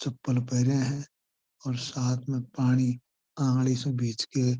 चप्पल पैरे है और साथ में पानी आंगली सु बींच के --